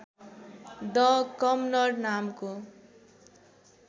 the commoner नामको